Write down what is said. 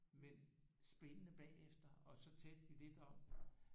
Men spændende bagefter og så talte vi lidt om